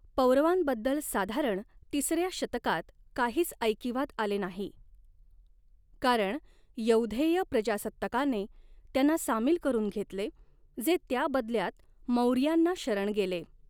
पौरवांबद्दल साधारण तिसऱ्या शतकात काहीच ऐकिवात आले नाही, कारण यौधेय प्रजासत्ताकाने त्यांना सामील करून घेतले, जे त्याबदल्यात मौर्यांना शरण गेले.